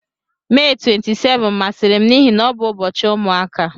Mee 27 masịrị m n'ihi na ọ bụ ụbọchị ụmụaka.